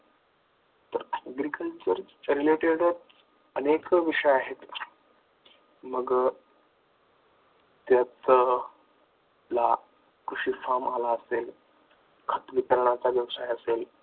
तर agriculture related अनेक विषय आहेत. मग त्यात कृषी आला असेल खत विकण्याचा व्यवसाय असेल